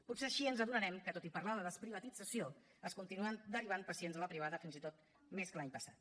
potser així ens adonarem que tot i parlar de desprivatització es continuen derivant pacients a la privada fins i tot més que l’any passat